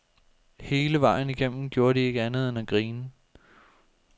Hele vejen igennem gjorde de ikke andet end at grine.